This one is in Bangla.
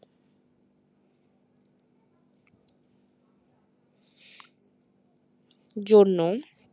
জন্য